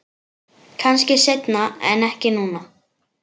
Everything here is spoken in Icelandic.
Kannski seinna en ekki núna.